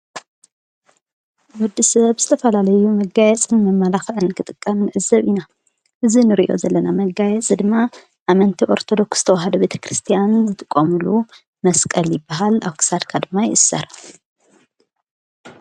ወዲ ሰብ ዝተፈላለዩ መጋየ ጽድሚ መላኽን ክጥቀም ሕዘብ ኢና እዝ ንርእዮ ዘለና መጋየፂ ድማ ኣመንቲ ኦርተዶክስ ተዉሃዶ ቤተ ክርስቲያን ዝትቆምሉ መስቀል በሃል ኣሳድ ካድማ ይእሠር።